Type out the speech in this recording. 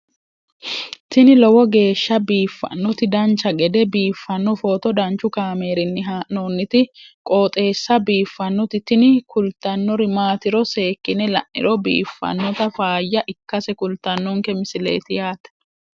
tini lowo geeshsha biiffannoti dancha gede biiffanno footo danchu kaameerinni haa'noonniti qooxeessa biiffannoti tini kultannori maatiro seekkine la'niro biiffannota faayya ikkase kultannoke misileeti yaate